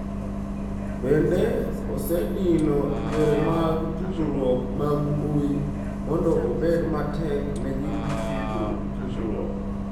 Bende, osedino yore mag tudruok mag Mbui mondo obed matek ne ji tudruok.